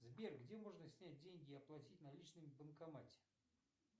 сбер где можно снять деньги и оплатить наличными в банкомате